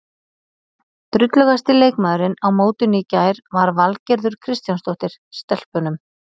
Drullugasti leikmaðurinn á mótinu í gær var Valgerður Kristjánsdóttir, Stelpunum.